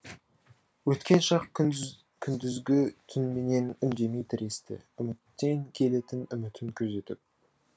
өткен шақ күндізгі түнменен үндемей тіресті үміттен келетін үмітін күзетіп